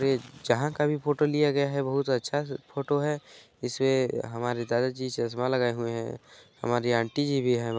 ये जहाँ का भी फोटो लिया गया है बहुत अच्छा स फोटो है इसमें हमारे दादा जी चश्मा लगाए हुए है हमारे आंटी जी भी हैं।